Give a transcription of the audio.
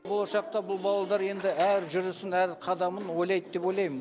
болашақта бұл баладар енді әр жүрісін әр қадамын ойлайды деп ойлаймын